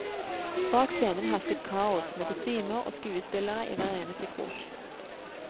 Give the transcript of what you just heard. Bak scenen hersket kaos, med kostymer og skuespillere i hver eneste krok.